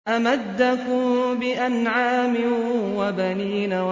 أَمَدَّكُم بِأَنْعَامٍ وَبَنِينَ